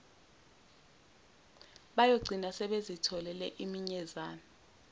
bayogcina sebezitholele iminyezane